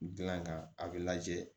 Gilan kan a be lajɛ